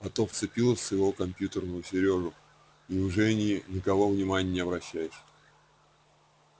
а то вцепилась в своего компьютерного сережу и уже ни на кого внимания не обращаешь